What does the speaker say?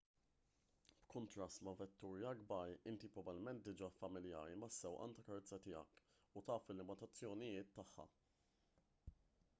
b'kuntrast ma' vetturi akbar inti probabbilment diġà familjari mas-sewqan tal-karozza tiegħek u taf il-limitazzjonijiet tagħha